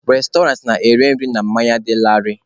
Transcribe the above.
Restọrantị na-ere nri na mmanya dị laarị.